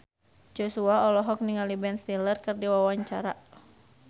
Joshua olohok ningali Ben Stiller keur diwawancara